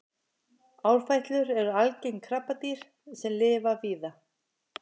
árfætlur eru algeng krabbadýr sem lifa víða